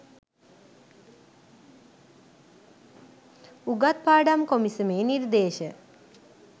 උගත් පාඩම් කොමිසමේ නිර්දේශ